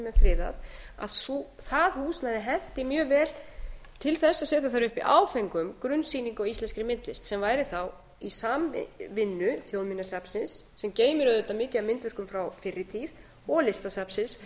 friðað að það húsnæði henti mjög vel til að setja þar upp í áföngum grunnsýningu á íslenskri myndlist sem væri þá í samvinnu þjóðminjasafnsins sem geymir auðvitað mikið af myndverk frá fyrri tíð og listasafnsins